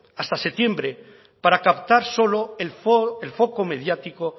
hasta septiembre para captar solo el foco mediático